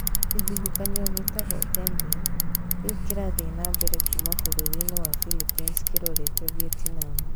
Kĩhuhũkanio kĩu gĩtagwo Tembin. Rĩu kĩrathiĩ na mbere kuuma bũrũri-inĩ wa Philippines kerorete Vietnam.